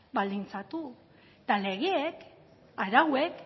baldintzatu eta legeek arauek